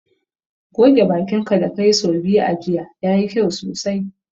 Goge bakin ka da ka yi sau biyu a jiya, ya yi kyau sosai.